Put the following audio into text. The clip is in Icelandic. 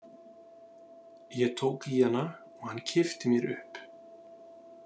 Ég tók í hana og hann kippti mér upp.